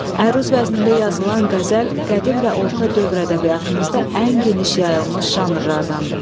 Əruz vəznində yazılan qəzəl qədim və orta dövr ədəbiyyatımızda ən geniş yayılmış janrlardandır.